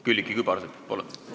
Külliki Kübarsepp, palun!